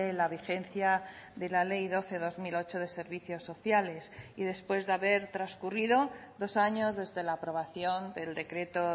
la vigencia de la ley doce barra dos mil ocho de servicios sociales y después de haber transcurrido dos años desde la aprobación del decreto